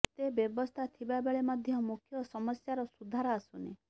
ଏତେ ବ୍ୟବସ୍ଥା ଥିବାବେଳେ ମଧ୍ୟ ମୁଖ୍ୟ ସମସ୍ୟାର ସୁଧାର ଆସୁନି